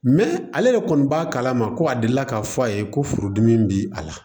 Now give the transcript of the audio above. ale de kɔni b'a kalama ko a deli la k'a fɔ a ye ko furudimi bi a la